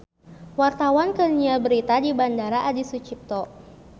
Wartawan keur nyiar berita di Bandara Adi Sucipto